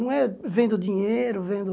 Não é vendo dinheiro, vendo...